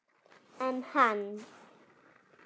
En hann?